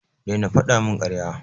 Daina fada min karya.